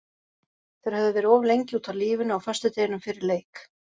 Þeir höfðu verið of lengi úti á lífinu á föstudeginum fyrir leik.